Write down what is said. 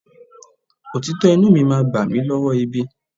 Òtítọ́ inúu mi máa gbà mí lọ́wọ́ ibi.